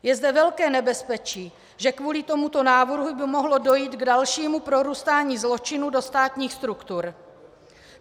Je zde velké nebezpečí, že kvůli tomuto návrhu by mohlo dojít k dalšímu prorůstání zločinu do státních struktur.